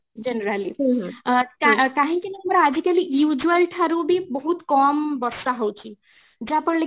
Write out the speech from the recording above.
generally କାହିଁକି ନା ଆଜି କାଲି usual ଠାରୁ ବି ବହୁତ କମ ବର୍ଷା ହଉଛି ଯାହା ଫଳରେ କି